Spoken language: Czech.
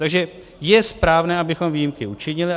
Takže je správné, abychom výjimky učinili.